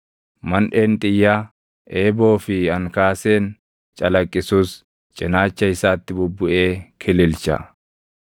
Manʼeen xiyyaa, eeboo fi ankaaseen calaqqisus cinaacha isaatti bubbuʼee kililcha.